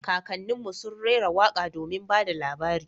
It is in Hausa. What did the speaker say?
Kakannin mu sun rera waka domin ba da labari